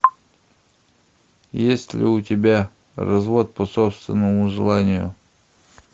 есть ли у тебя развод по собственному желанию